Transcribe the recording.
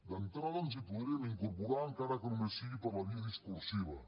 d’entrada ens hi podríem incorporar encara que només sigui per la via discursiva